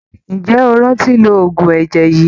Ǹjẹ́ o rántí lo oògùn ẹ̀jẹ̀ yìí?